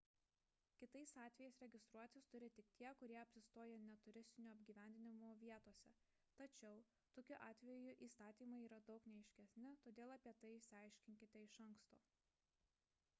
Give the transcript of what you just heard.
kitais atvejais registruotis turi tik tie kurie apsistoja ne turistų apgyvendinimo vietose tačiau tokiu atveju įstatymai yra daug neaiškesni todėl apie tai išsiaiškinkite iš anksto